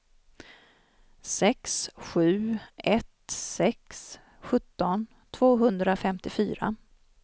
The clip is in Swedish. sex sju ett sex sjutton tvåhundrafemtiofyra